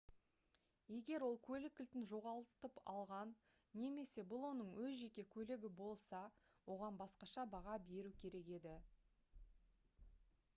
егер ол көлік кілтін жоғалтып алған және бұл оның өз жеке көлігі болса оған басқаша баға беру керек еді